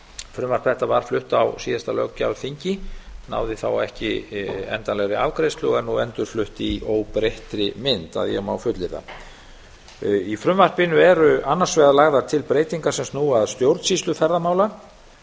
frumvarp þetta var flutt á síðasta löggjafarþingi náði þá ekki endanlegri afgreiðslu og er nú endurflutt í óbreyttri mynd í frumvarpinu eru annars vegar lagðar til breytingar sem snúa að stjórnsýslu ferðamála